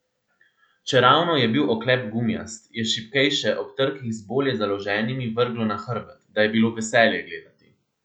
Čeravno je bil oklep gumijast, je šibkejše ob trkih z bolje založenimi vrglo na hrbet, da je bilo veselje gledati.